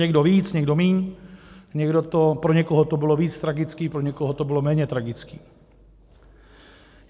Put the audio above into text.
Někdo víc, někdo míň, pro někoho to bylo víc tragické, pro někoho to bylo méně tragické.